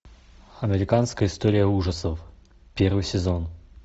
американская история ужасов первый сезон